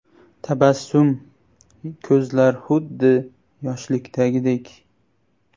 Tabassum, ko‘zlar xuddi yoshlikdagidek.